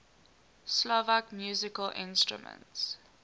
slovak musical instruments